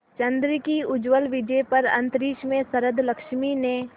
चंद्र की उज्ज्वल विजय पर अंतरिक्ष में शरदलक्ष्मी ने